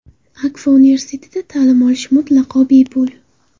Akfa Universitetida ta’lim olish mutlaqo bepul.